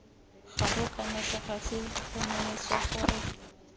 goga kana segasi tlhomamisa gore